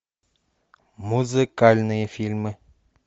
музыкальные фильмы